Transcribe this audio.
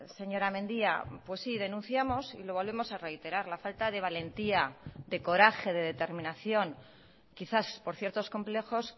señora mendia pues sí denunciamos y lo volvemos a reiterar la falta de valentía de coraje de determinación quizás por ciertos complejos